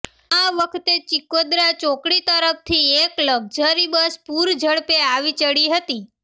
આ વખતે ચીખોદરા ચોકડી તરફથી એક લક્ઝરી બસ પૂરઝડપે આવી ચડી હતી